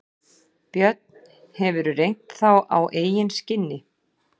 Björn: Hefurðu reynt þá á eigin skinni?